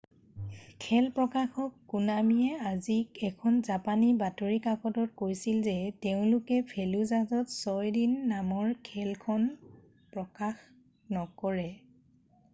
খেল প্ৰকাশক কোনামিয়ে আজি এখন জাপানী বাতৰি কাকতত কৈছিল যে তেওঁলোকে ফেলুজাহত ছয় দিন নামৰ খেলখন প্ৰকাশ নকৰে